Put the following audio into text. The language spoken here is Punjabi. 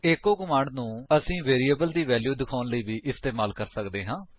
ਈਚੋ ਕਮਾਂਡ ਨੂੰ ਅਸੀ ਵੇਰੀਏਬਲ ਦੀ ਵੈਲਿਊ ਦਿਖਾਉਣ ਲਈ ਵੀ ਇਸਤੇਮਾਲ ਕਰ ਸਕਦੇ ਹਾਂ